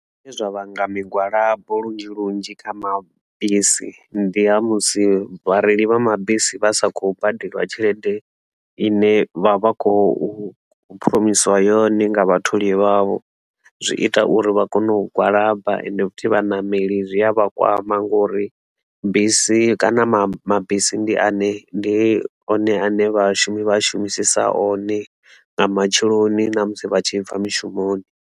Zwine zwa vhanga migwalabo lunzhi lunzhi kha mabisi ndi ha musi vhareili vha mabisi vha sa khou badeliwa tshelede ine vha vha khou phuromisiiwa yone nga vhatholi vhavho zwi ita uri vha kone u gwalaba ende futhi vhaṋameli zwi a vha kwama ngori bisi kana mabisi ndi ane, ndi one ane vhashumi vha shumisiesa one nga matsheloni na musi vha tshi bva mishumoni.